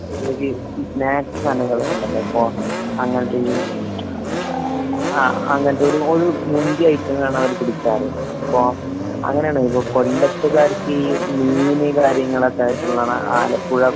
ഒരു സ്നാക്സ് സാധങ്ങളൊക്കെ ഇണ്ടല്ലോ? ഇപ്പൊ ആഹ് കുറേ ഇണ്ട് അങ്ങനെ അങ്ങനെ. ആഹ് അങ്ങനെത്തില് ഐറ്റങ്ങളാണ് അവര് പിടിക്കാറ്. ഇപ്പൊ അങ്ങനെയാണ് വരാ. ഇപ്പൊ കൊല്ലത്ത്കാർക്ക് ഈ മീന് കാര്യങ്ങളൊക്കെ ആയിട്ടുള്ളതാണ്. ആലപ്പുഴ